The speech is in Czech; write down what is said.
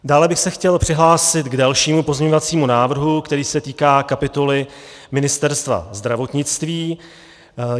Dále bych se chtěl přihlásit k dalšímu pozměňovacímu návrhu, který se týká kapitoly Ministerstva zdravotnictví.